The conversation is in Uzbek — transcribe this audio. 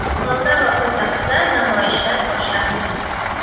Moldova poytaxtida namoyishlar boshlandi.